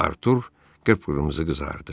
Artur qıpqırmızı qızardı.